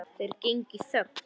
Þeir gengu í þögn.